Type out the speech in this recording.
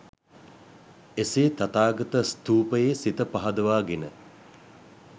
එසේ තථාගත ස්ථූපයේ සිත පහදවා ගෙන